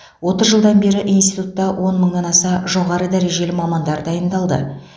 отыз жылдан бері институтта он мыңнан аса жоғары дәрежелі мамандар дайындалды